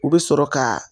U bɛ sɔrɔ ka